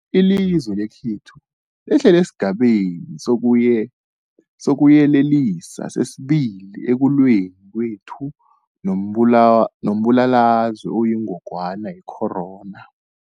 Ilizwe lekhethu lehlele esiGabeni sokuYelelisa sesi-2 ekulweni kwethu nombulalazwe oyingogwana ye-corona.